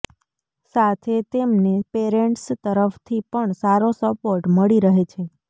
સાથે તેમને પેરેન્ટ્સ તરફથી પણ સારો સપોર્ટ મળી રહે છે